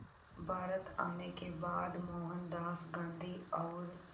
भारत आने के बाद मोहनदास गांधी और